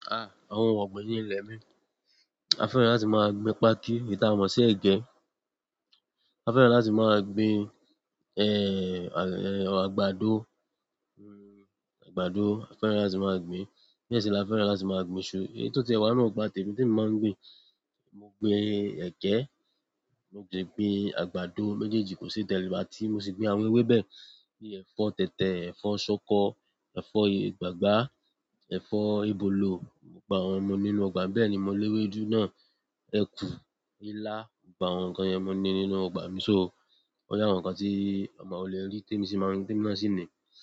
Àwọn ohun ọ̀gbìn ní ilẹ̀ mi, a fẹ́ràn láti máa gbin páákí, ìta mọ sí ẹ̀gẹ́. A fẹ́ràn láti máa gbin, àgbàdo, àgbàdo a fẹ́ràn láti máa gbin. Bẹ́ẹ̀ sì la fẹ́ràn láti máa gbin iṣu. Èyí tò tí ẹ wá nù ipa témi tí emi máa ń gbin. Mo gbin ẹgẹ, mo de gbin àgbàdo méjèèjì kò sí yi tẹ́ n wa, ti mo sì gbin àwọn ewébẹ̀ bíi ẹ̀fọ́ tẹ̀tẹ̀, ẹ̀fọ́ ṣọkọ, ẹ̀fọ́ ìgbàgbá, ẹ̀fọ́ ìbòlò. Mo gba àwọn ọmọ nínú ọgbà, bẹ́ẹ̀ ni mo lé ewédú náà, ẹ̀kú, ilá gbogbo àwọn nǹkan yẹn mọ ní nínú ọgbà mi so wọ́n lẹ́ àwọn nǹkan tí ọma ò lè rí tí èmi sì máa n, tí èmi náà sì ni.